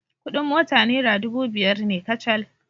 Kuɗin mota naira dubu biyar ne kacal.